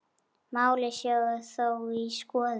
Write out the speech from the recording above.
Málið sé þó í skoðun.